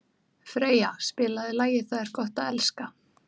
Freyja, spilaðu lagið „Það er gott að elska“.